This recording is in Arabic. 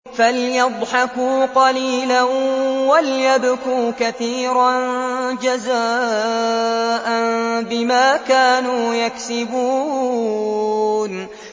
فَلْيَضْحَكُوا قَلِيلًا وَلْيَبْكُوا كَثِيرًا جَزَاءً بِمَا كَانُوا يَكْسِبُونَ